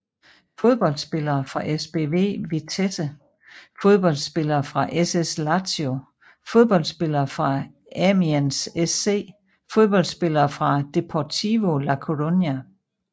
Fodboldspillere fra SBV Vitesse Fodboldspillere fra SS Lazio Fodboldspillere fra Amiens SC Fodboldspillere fra Deportivo La Coruña